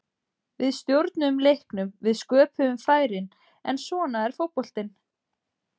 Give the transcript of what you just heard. Við stjórnuðum leiknum, við sköpuðum færin, en svona er fótboltinn.